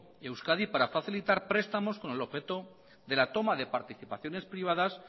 euskadi para facilitar prestamos con el objeto de la toma de participaciones privadas